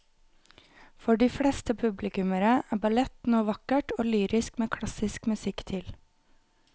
For de fleste publikummere er ballett noe vakkert og lyrisk med klassisk musikk til.